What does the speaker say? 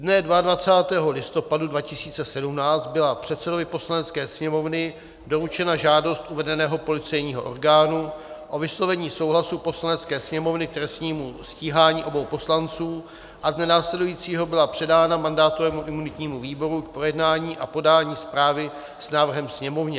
Dne 22. listopadu 2017 byla předsedovi Poslanecké sněmovny doručena žádost uvedeného policejního orgánu o vyslovení souhlasu Poslanecké sněmovny k trestnímu stíhání obou poslanců a dne následujícího byla předána mandátovému a imunitnímu výboru k projednání a podání zprávy s návrhem Sněmovně.